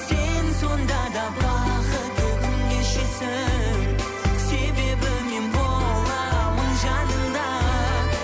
сен сонда да бақытты күн кешесің себебі мен боламын жаныңда